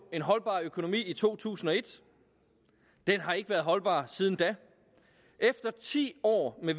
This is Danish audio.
en holdbar økonomi i to tusind og et den har ikke været holdbar siden da efter ti år med